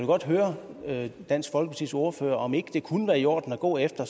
godt høre dansk folkepartis ordfører om det ikke kunne være i orden at gå efter